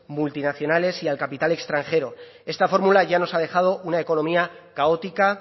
multinacionales y al capital extranjero esta fórmula ya nos ha dejado una economía caótica